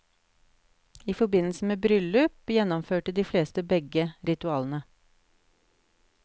I forbindelse med bryllup gjennomførte de fleste begge ritualene.